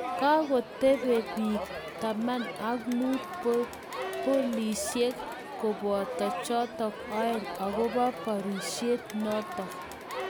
Kakotebee piik 15 pilisiek kobooto chootok aeng' , akobo baarisiet nootok.